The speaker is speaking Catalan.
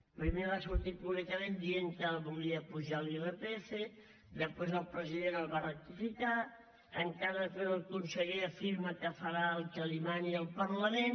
primer va sortir públicament dient que volia apujar l’irpf després el president el va rectificar encara després el conseller afirma que farà el que li mani el parlament